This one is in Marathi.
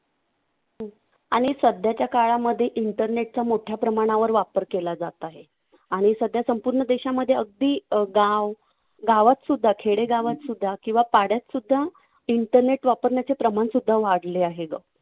आणि सध्याच्या काळामध्ये internet चा मोठ्या प्रमाणावर वापर केला जात आहे. आणि सध्या संपूर्ण देशामध्ये अगदी अं गाव, गावातसुद्धा, खेडेगावातसुद्धा किंवा पाड्यातसुद्धा internet वापरण्याचं प्रमाणसुद्धा वाढले आहे गं.